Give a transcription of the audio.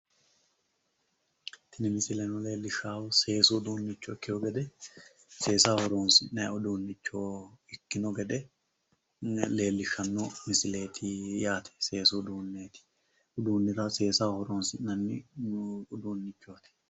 Tini misile leellishshannohu seesu uduunnicho ikkewo gede, seesa horonsi'nayi uduunnicho ikkewo gede leellishshanno misileeti yaate. Seesu uduunneeti. Seesaho horonsi'nanni uduunnichooti.